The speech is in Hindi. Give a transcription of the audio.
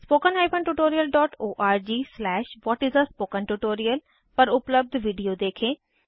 httpspoken tutorialorg What is a Spoken Tutoria पर उपलब्ध विडिओ देखें